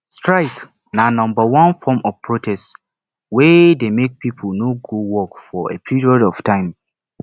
strike na number one form of protest wey de make pipo no go work for a period of time